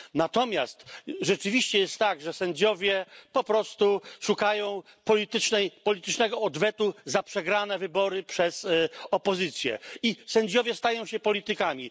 Natomiast rzeczywiście jest tak, że sędziowie po prostu szukają politycznego odwetu za przegrane wybory przez opozycję i sędziowie stają się politykami.